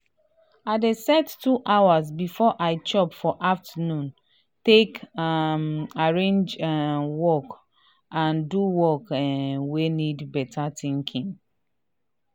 i dey set 2 hours before i chop for afternoon take um arrange um work and do work um wey need beta thinkinng.